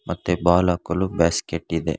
ಮತ್ತೆ ಬಾಲ್ ಹಾಕಲು ಬ್ಯಾಸ್ಕೆಟ್ ಇದೆ.